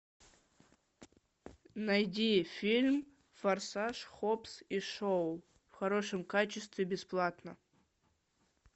найди фильм форсаж хоббс и шоу в хорошем качестве бесплатно